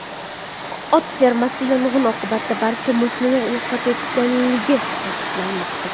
Ot fermasi yong‘in oqibatida barcha mulkini yo‘qotganligi ta’kidlanmoqda.